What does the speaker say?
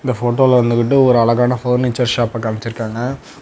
இந்த போட்டோல வந்துகிட்டு ஒரு அழகான ஃபர்னிச்சர் ஷாப்ப காமிச்சிருக்காங்க.